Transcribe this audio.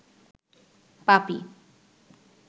পাপী